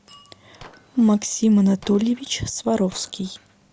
максим анатольевич сваровский